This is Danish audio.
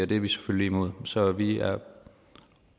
det er vi selvfølgelig imod så vi er